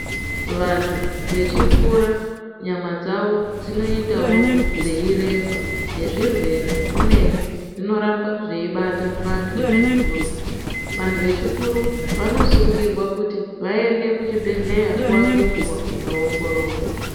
Vantu vechikura nyama dzavo dzinoitawo dzeyiremba nezvirwere zvimweni zvinoramba zveibata vantu vechikuru. Vantu vechikuru vanosungirwa kuti vaende kuchibhedhleya nguwa ngenguwa kunoongororwa.